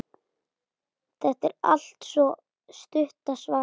Þetta er altso stutta svarið.